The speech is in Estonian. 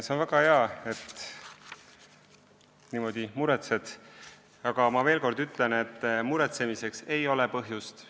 See on väga hea, et sa niimoodi muretsed, aga ma veel kord ütlen, et muretsemiseks ei ole põhjust.